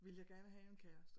Ville jeg gerne have en kæreste